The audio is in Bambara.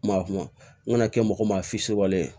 Ma kuma n kana kɛ mɔgɔ maa ye